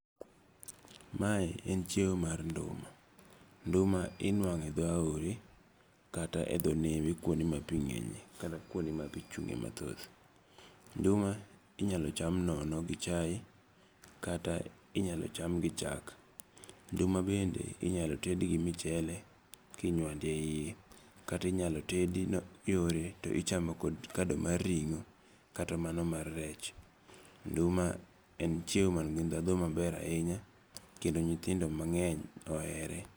Mae en chiemo mar nduma. Nduma inuang'o e dho aore kata e dho nembe kuonde ma pi ng'enye kata kuonde ma pi chung'e mathoth. Nduma inyalo cham nono gi chae kata inyalo cham gi chak. Nduma bende inyalo ted gi michele kinywando e iye. Kata inyalo ted yore to ichamo kod kado mar ringo kata mano mar rech. Kendo ma en chiemo man gi dhadho maber ahinya kendo nyithindo mang'eny ohere.